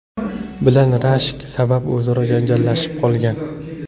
bilan rashk sabab o‘zaro janjallashib qolgan.